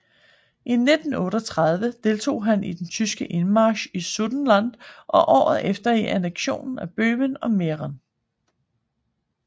I 1938 deltog han i den tyske indmarch i Sudetenland og året efter i anneksionen af Böhmen og Mähren